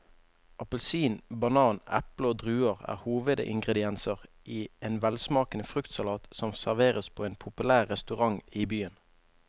Appelsin, banan, eple og druer er hovedingredienser i en velsmakende fruktsalat som serveres på en populær restaurant i byen.